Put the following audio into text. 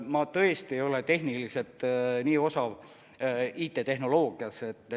Ma tõesti ei ole infotehnoloogias tehniliselt nii osav.